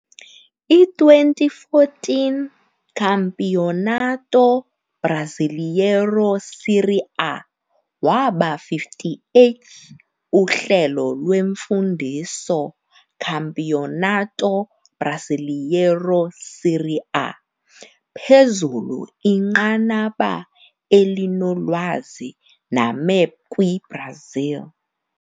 I - 2014 Campeonato Brasileiro Série A waba 58th uhlelo lwemfundiso Campeonato Brasileiro Série A, phezulu-inqanaba elinolwazi name kwi-Brazil.